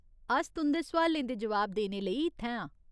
अस तुं'दे सोआलें दे जोआब देने लेई इत्थै आं।